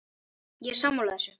Ég er sammála þessu.